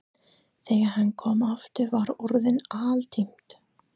Þegar hann kom aftur var orðið aldimmt.